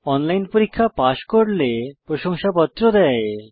online পরীক্ষা pass করলে প্রশংসাপত্র দেয়